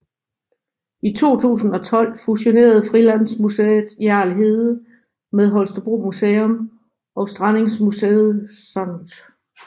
I 2012 fusionerede Frilandsmuseet Hjerl Hede med Holstebro Museum og Strandingsmuseum St